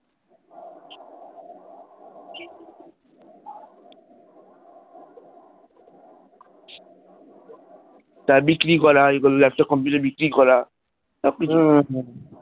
তার বিক্রি করা laptop computer বিক্রি করা সব কিছু